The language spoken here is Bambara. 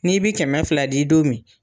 N'i bi kɛmɛ fila di don min